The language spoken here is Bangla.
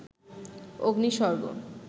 অগ্নি স্বর্গ